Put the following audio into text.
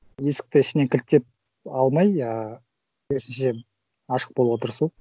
есікті ішінен кілттеп алмай ыыы керісінше ашық болуға тырысу